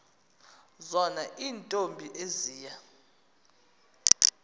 zona iintombi eziya